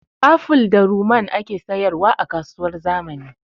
Aful da ruman ake sayar wa a kasuwar zamani